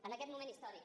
en aquest moment històric